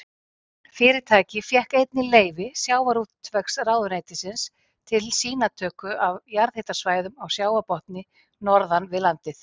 Fyrirtækið fékk einnig leyfi sjávarútvegsráðuneytisins til sýnatöku af jarðhitasvæðum á sjávarbotni norðan við landið.